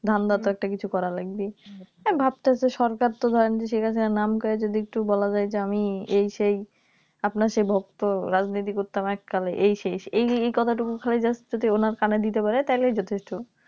ধান্দা তো কিছু একটা করা লাগবেই আমি ভাবতাছি যে সরকার তো . কাছে নাম কইয়া যদি একটু বলা যায় যে আমি এই সেই আপনার সেই ভক্ত রাজনীতি করতাম এককালে এই শেষ এই কথাটুকু খালি Just যদি ওনার কানে দিতে পারে তাহলেই যথেষ্ট